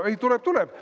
Tuleb-tuleb!